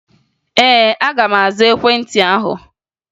Ee, aga m aza ekwentị ahụ